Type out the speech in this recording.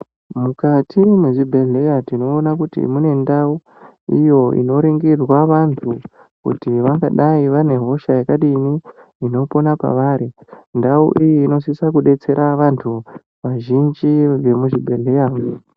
Mukati mwezvibhedhleya tinoona kuti mune ndau iyo inoringirwa antu kuti vangadai vane hosha yakadini inopona pavari ndau iyi inosise kudetsera vanhu vazhinji vemuzvibhedhleya .